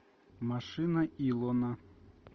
машина илона